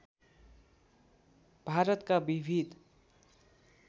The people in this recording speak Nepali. भारतका विविध